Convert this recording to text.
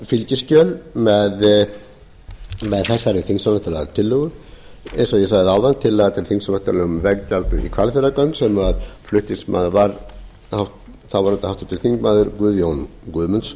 fylgiskjöl með þessari þingsályktunartillögu eins og ég sagði áðan tillaga til þingsályktunar um veggjald í hvalfjarðargöng sem flutningsmaður var þáverandi háttvirtur þingmaður guðjón guðmundsson